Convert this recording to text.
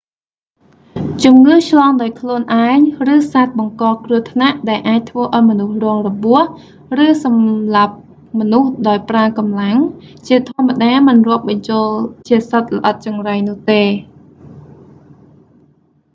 ជំងឺឆ្លងដោយខ្លួនឯង ឬសត្វបង្កគ្រោះថ្នាក់ដែលអាចធ្វើឱ្យមនុស្សរងរបួស ឬសម្លាប់មនុស្សដោយប្រើកម្លាំង ជាធម្មតាមិនរាប់បញ្ចូលជាសត្វល្អិតចង្រៃនោះទេ